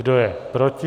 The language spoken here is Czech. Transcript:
Kdo je proti?